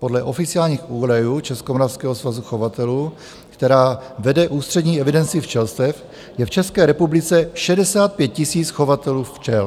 Podle oficiálních údajů Českomoravského svazu chovatelů, který vede ústřední evidenci včelstev, je v České republice 65 tisíc chovatelů včel.